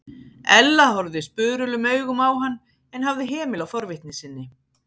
Ella horfði spurulum augum á hann en hafði hemil á forvitni sinni.